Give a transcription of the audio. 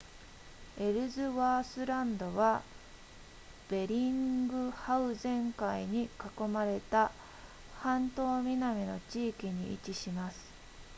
エルズワースランドはベリングハウゼン海に囲まれた半島南の地域に位置します